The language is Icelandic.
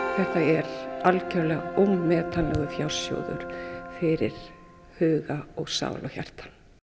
þetta er algjörlega ómetanlegur fjársjóður fyrir huga og sál og hjarta